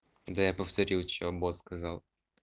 да я повторил что бос сказал